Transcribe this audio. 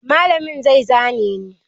Malamin zai zane ni.